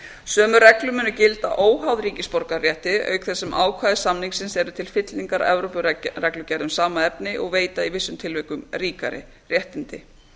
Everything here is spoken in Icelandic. sömu reglur munu gilda óháð ríkisborgararétti auk þess sem ákvæði samningsins eru til fyllingar evrópureglugerð um saman efni og veita í vissum tilvikum ríkari réttindi